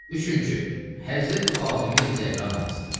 Üçüncü: Həzrəti Fatimeyi Zəhra namazıdır.